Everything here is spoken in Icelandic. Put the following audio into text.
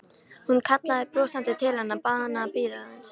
Hún kallaði brosandi til hennar, bað hana að bíða aðeins.